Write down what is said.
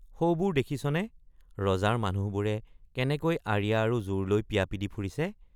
সৌবোৰ দেখিছনে ৰজাৰ মানুহবোৰে কেনেকৈ আঁৰিয়া আৰু জোৰ লৈ পিয়া পি দি ফুৰিছে।